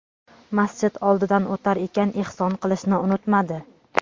Masjid oldidan o‘tar ekan ehson qilishni unutmadi.